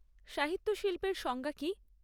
সাহিত্য শিল্পের সংজ্ঞা কী?